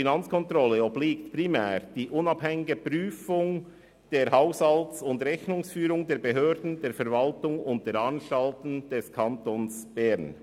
Der Finanzkontrolle obliegt primär die unabhängige Prüfung der Haushalt- und Rechnungsführung der Behörden, der Verwaltung und der Anstalten des Kantons Bern.